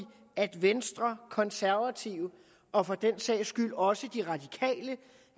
at venstre konservative og for den sags skyld også de radikale